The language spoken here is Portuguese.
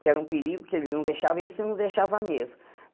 Que era um perigo que eles não deixavam e esse não deixava mesmo.